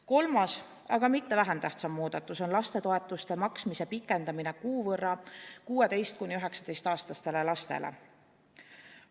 Kolmas, aga mitte vähem tähtis muudatus on lastetoetuste maksmise pikendamine kuu võrra 16–19‑aastaste laste puhul.